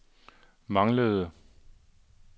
manglede